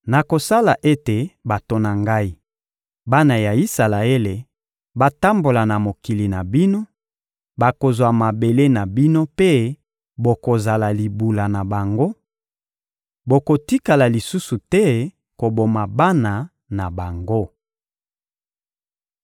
Nakosala ete bato na Ngai, bana ya Isalaele, batambola na mokili na bino; bakozwa mabele na bino mpe bokozala libula na bango; bokotikala lisusu te koboma bana na bango.